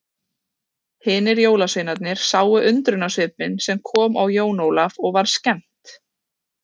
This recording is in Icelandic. Hinir jólasveinarnir sáu undrunarsvipinn sem kom á Jón Ólaf og var skemmt.